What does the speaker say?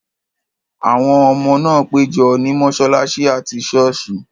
Àwọn ọmọ náà pẹ́ jọ ní mọ́ṣáláṣí àti ṣọ́ọ̀sì.